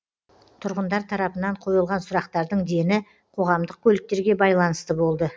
тұрғындар тарапынан қойылған сұрақтардың дені қоғамдық көліктерге байланысты болды